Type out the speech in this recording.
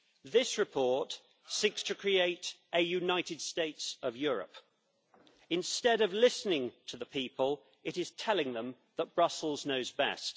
This report seeks to create a United States of Europe. Instead of listening to the people, it is telling them that Brussels knows best.